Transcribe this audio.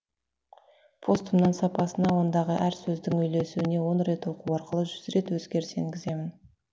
постымның сапасына ондағы әр сөздің үйлесуіне он рет оқу арқылы жүз рет өзгеріс енгіземін